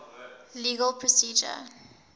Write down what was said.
legal procedure